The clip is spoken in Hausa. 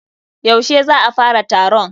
Yaushe za a fara taron?